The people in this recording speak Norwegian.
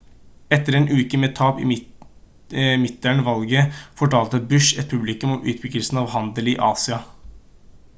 etter en uke med tap i midterm-valget fortalte bush et publikum om utbyggelsen av handel i asia